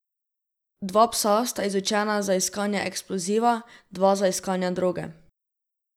Dva psa sta izučena za iskanje eksploziva, dva za iskanje droge.